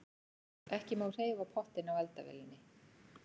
Ekki má hreyfa pottinn á eldavélinni.